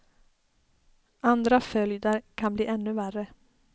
Andra följder kan bli ännu värre.